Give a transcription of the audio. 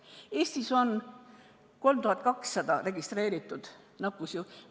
Eestis on 3200 registreeritud nakkusjuhtu.